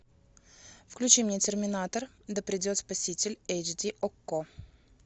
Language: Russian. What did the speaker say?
включи мне терминатор да придет спаситель эйч ди окко